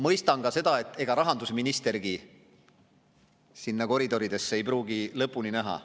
Ma mõistan ka seda, et ega rahandusministergi nendes koridorides ei pruugi lõpuni näha.